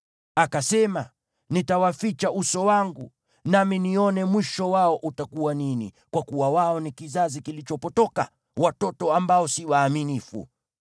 Akasema, “Nitawaficha uso wangu, nami nione mwisho wao utakuwa nini, kwa kuwa wao ni kizazi kilichopotoka, watoto ambao si waaminifu.